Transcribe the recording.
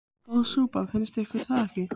Góð súpa, finnst ykkur það ekki?